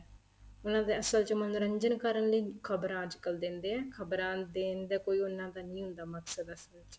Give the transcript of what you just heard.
ਮਤਲਬ ਅਸਲ ਚ ਮੰਨੋਰੰਜਨ ਕਰਨ ਲਈ ਖਬਰਾਂ ਅੱਜ ਕੱਲ ਦਿੰਦੇ ਏ ਖਬਰਾਂ ਦੇਣ ਦਾ ਕੋਈ ਉਹਨਾ ਦਾ ਨਹੀਂ ਹੁੰਦਾ ਮਕਸਦ ਅਸਲ ਚ